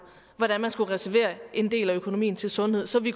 hvordan man skulle reservere en del af økonomien til sundhed så vi